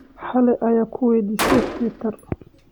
Cali ayaa ku waydiisay Twitter.